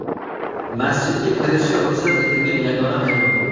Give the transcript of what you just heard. Masjidga kirishi ruxsat etilgan yagona hayvon.